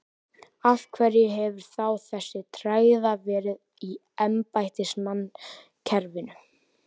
Af hverju hefur þá þessi tregða verið í embættismannakerfinu?